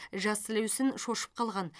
жас сілеусін шошып қалған